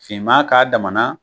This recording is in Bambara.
Finman k'a dama na